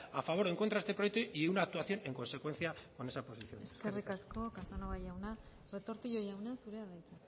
a favor o en contra de este proyecto y una actuación en consecuencia con esa posición eskerrik asko eskerrik asko casanova jauna retortillo jauna zurea da hitza